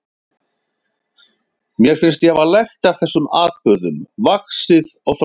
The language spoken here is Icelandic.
Mér fannst ég hafa lært af þessum atburðum, vaxið og þroskast.